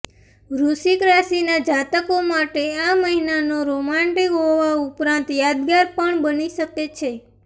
વૃશ્ચિક રાશિના જાતકો માટે આ મહિનો રોમાંટિક હોવા ઉપરાંત યાદગાર પણ બની શકે છે